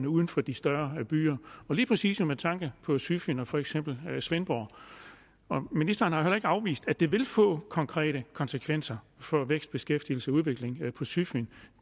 uden for de større byer lige præcis med tanke på sydfyn og for eksempel svendborg ministeren har jo heller ikke afvist at det vil få konkrete konsekvenser for vækst beskæftigelse og udvikling på sydfyn